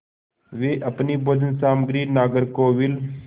वे अपनी भोजन सामग्री नागरकोविल